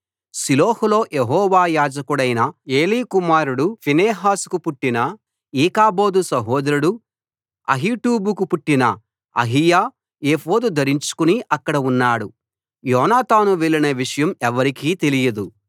షిలోహులో యెహోవా యాజకుడైన ఏలీ కుమారుడు ఫీనెహాసుకు పుట్టిన ఈకాబోదు సహోదరుడు అహీటూబుకు పుట్టిన అహీయా ఏఫోదు ధరించుకుని అక్కడ ఉన్నాడు యోనాతాను వెళ్లిన విషయం ఎవ్వరికీ తెలియదు